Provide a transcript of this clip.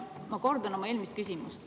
Ma kordan oma eelmist küsimust.